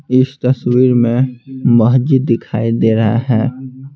इस तस्वीर में मस्जिद दिखाई दे रहा है।